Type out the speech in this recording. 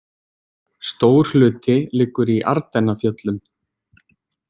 Stór hluti liggur í Ardennafjöllum.